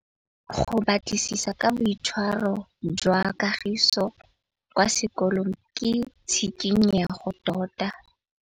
Go batlisisa ka boitshwaro jwa Kagiso kwa sekolong ke tshikinyêgô tota.